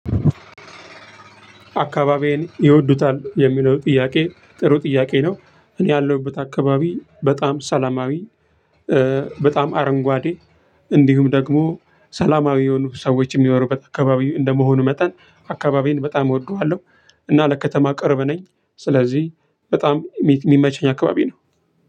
አካባቢዬን ይወዱታል የሚለው ጥያቄ ጥሩ ጥያቄ ነው እኔ ያለሁበት አካባቢ በጣም ሰላማዊ። በጣም አረንጓዴ እንዲሁም ደግሞ ሰላማዊ የሆኑ ሰዎች የሚያኖሩበት አካባቢ እንደመሆኑ መጠን አካባቢዬን በጣም እወደዋለሁ። እና ለከተማ ቅርብ ነኝ። ስለዚህ በጣም የሚመቸኝ አካባቢ ነው።